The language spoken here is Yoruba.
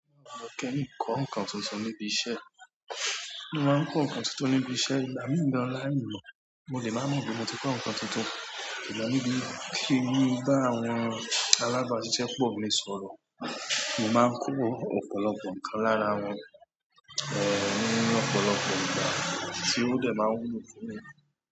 Mo kẹ́yìn kọ́ ǹkan tuntun níbi iṣẹ́. Mo máa ń kọ́ nǹkan tuntun níbi iṣẹ́, ìgbà míì gan láì mọ̀, mo lè má mọ̀ pé mo ti kọ́ nǹkan tuntun. Ìgbà méjì kí èmi bá àwọn alábàáṣiṣẹ́ pọ̀ gbé sọ̀rọ̀, mo máa ń kọ́ ọ̀pọ̀lọpọ̀ ǹkan lára wọn, ẹ́, ọ̀pọ̀lọpọ̀ ǹkan tí ó lè máa wù mí pé.